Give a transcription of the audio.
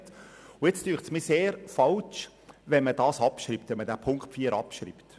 Daher scheint es mir sehr falsch, wenn man Punkt 4 abschreibt.